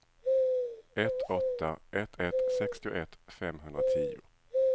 ett åtta ett ett sextioett femhundratio